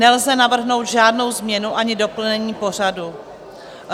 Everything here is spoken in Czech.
Nelze navrhnout žádnou změnu ani doplnění pořadu.